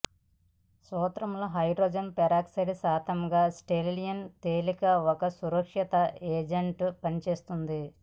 సూత్రంలో hydrogen peroxide శాంతముగా stains తేలిక ఒక సురక్షిత ఏజెంట్ పనిచేస్తుంది